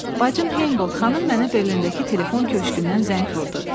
Bacın Heymbolt xanım mənə Berlindəki telefon köşqündən zəng vurdu.